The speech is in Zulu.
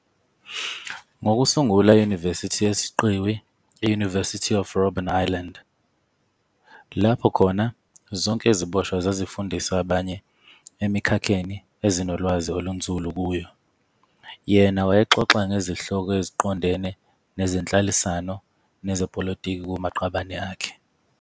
Ngokusungula iYunivesithi yesiqiwi i-"University of Robben Island", lapho khona zonke iziboshwa zazifundisa abanye emikhakheni ezinolwazi olunzulu kuyo, yena wayexoxa ngezihloko eziqondene nezenhlalisano nezepolitiki kumaqabane akhe.